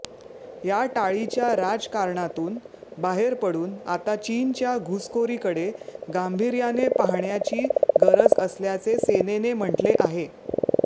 या टाळीच्या राजकारणातून बाहेर पडून आता चीनच्या घुसखोरीकडे गांभीर्याने पाहण्याची गरज असल्याचे सेनेने म्हटले आहे